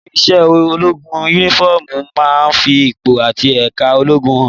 Nínú iṣẹ́ ológun, Únífọ́ọ̀mù máa ń fi ipò àti ẹ̀ka ológun hàn